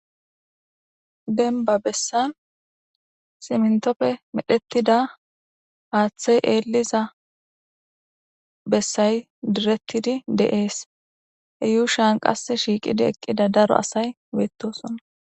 Dembba bessan simntoppe medhettida aaththey eelliza bessay direttidi de7ees he yuushan qass shiiqidi eqqida daro asay weettosonna.